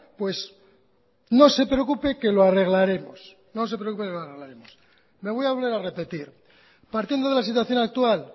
pues no se preocupe que lo arreglaremos no se preocupe que lo arreglaremos me voy a volver a repetir partiendo de la situación actual